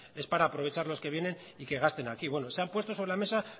es para aprovechar los que vienen y que gasten aquí bueno se han puesto sobre la mesa